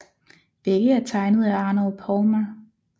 Begge er tegnet af Arnold Palmer